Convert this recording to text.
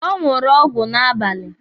Ọ ṅụrụ ọgwụ n'abalị.